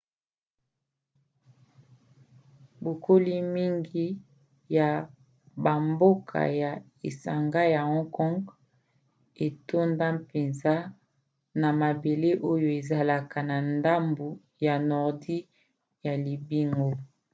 bokoli mingi ya bamboka ya esanga ya hong kong etonda mpenza na mabele oyo ezalaka na ndambu ya nordi ya libongo